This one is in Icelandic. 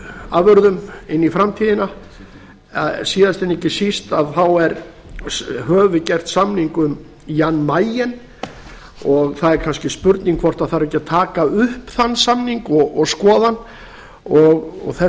afurðum síðast en ekki síst höfum við gert samning um jan mayen og það er kannski spurning hvort þarf ekki að taka upp þann samning og skoða hann og þess